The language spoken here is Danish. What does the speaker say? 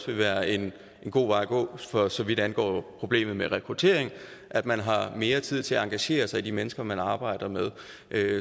vil være en god vej at gå for så vidt angår problemet med rekruttering at man har mere tid til at engagere sig i de mennesker man arbejder med